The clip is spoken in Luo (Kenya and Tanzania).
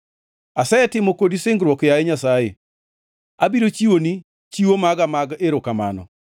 Asetimo kodi singruok, yaye Nyasaye; abiro chiwoni chiwo maga mag erokamano.